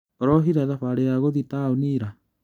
ũrohire thabarĩ ya gũthiĩ taũni ira?